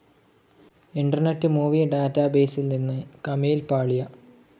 internet movie ഡാറ്റാബേസിൽ നിന്ന് കമീൽ പാളിയ